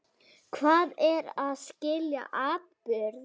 Hvað er að skilja atburð?